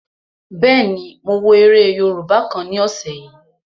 Bẹ́ẹ̀ni, mo wo eré yóòbá kan ní ọ̀sẹ̀ yìí